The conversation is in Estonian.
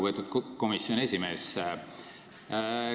Väga lugupeetud komisjoni esimees!